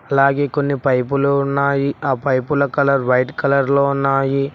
అలాగే కొన్ని పైపులు ఉన్నాయి ఆ పైపుల కలర్ వైట్ కలర్ లో ఉన్నాయి.